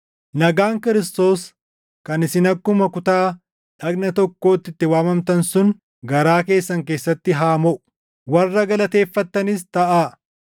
Nagaan Kiristoos kan isin akkuma kutaa dhagna tokkootti itti waamamtan sun garaa keessan keessatti haa moʼu. Warra galateeffattanis taʼaa.